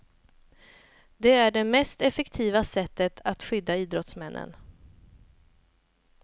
Det är det mest effektiva sättet att skydda idrottsmännen.